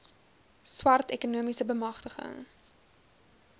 swart ekonomiese beamgtiging